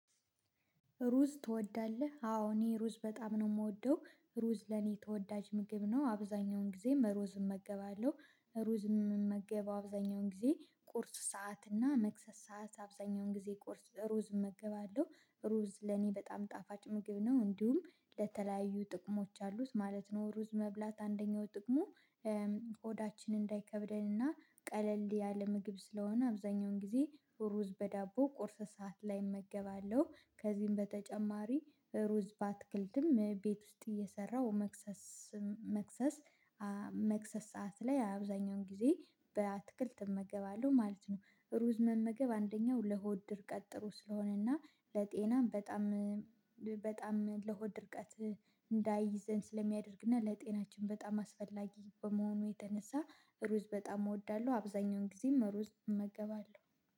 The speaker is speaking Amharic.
ሩዝ ትወዳለህ? አዎ እኔ ሩዝ በጣም ነው የምወደው። ሩዝ ለኔ ተወዳጅ ምግብ ነው። አብዛኛውን ጊዜም ሩዝ እመገባለሁ። ሩዝ እምመገበው አብዛኛውን ጊዜ ቁርስ ሰዓት እና መክሰስ ሰዓት አብዛኛውን ጊዜ ቁርስ ሩዝ እመገባለሁ። ሩዝ ለኔ በጣም ጣፋጭ ምግብ ነው። እንዲሁም ለተለያዩ ጥቅሞች አሉት ማለት ነው። ሩዝ መብላት አንደኛው ጥቅሙ ሆዳችን እንዳይከብደንና ቀለል ያለ ምግብ ስለሆነ አብዛኛውን ጊዜ ሩዝ በዳቦ ቁርስ ሰዓት ላይ እመገባለሁ። ከዚህም በተጨማሪ ሩዝ ባትክልትም ቤት ውስጥ እየሰራው መክሰስ መክሰስ መክሰስ ሰዓት ላይ አብዛኛውን ጊዜ በአትክልት እመገባለሁ ማለት ነው። ሩዝ መመገብ አንደኛው ለሆድ ድርቀት ጥሩ ስለሆነና ለጤናም በጣም በጣም ለሆድ ድርቀት እንዳይዘን ስለሚያደርግና ለጤናችን በጣም አስፈላጊ በመሆኑ የተነሳ ሩዝ በጣም እወዳለሁ። አብዛኛውን ጊዜ መሩዝ እመገባለሁ።